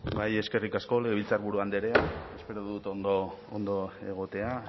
bai eskerik asko legebiltzarburu andrea espero dut ondo egotea